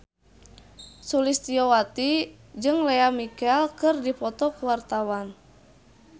Sulistyowati jeung Lea Michele keur dipoto ku wartawan